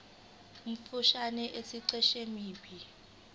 omfushane esiqeshini b